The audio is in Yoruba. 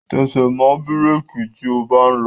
Tẹsẹ̀ mọ́ bírèki tí o bá ń lọ!